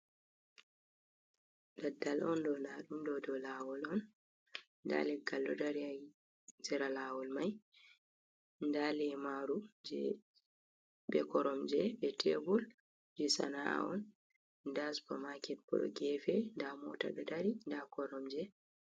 Daddal on do dadumdo do lawol on, da leggal dodari ha sera lawol mai da lemaru jebe koromje be tebul je sana’on da supermarket bo do gefe da mota dodari da koromje.